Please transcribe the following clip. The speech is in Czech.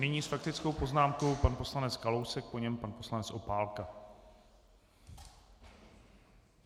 Nyní s faktickou poznámkou pan poslanec Kalousek, po něm pan poslanec Opálka.